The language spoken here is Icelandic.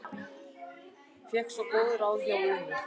Fékk svo góð ráð hjá Unu.